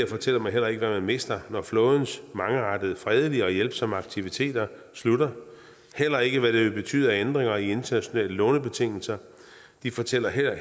fortæller heller ikke hvad man mister når flådens mangeartede fredelige og hjælpsomme aktiviteter slutter og heller ikke hvad det vil betyde af ændringer i internationale lånebetingelser de fortæller heller